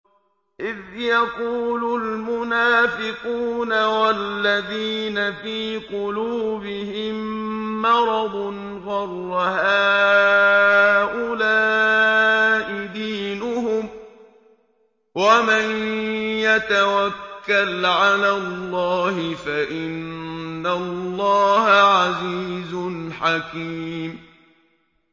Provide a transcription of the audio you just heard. إِذْ يَقُولُ الْمُنَافِقُونَ وَالَّذِينَ فِي قُلُوبِهِم مَّرَضٌ غَرَّ هَٰؤُلَاءِ دِينُهُمْ ۗ وَمَن يَتَوَكَّلْ عَلَى اللَّهِ فَإِنَّ اللَّهَ عَزِيزٌ حَكِيمٌ